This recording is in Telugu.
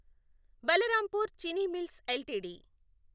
Balrampur Chini mills LTD